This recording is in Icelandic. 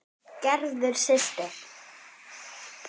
Gerður systir.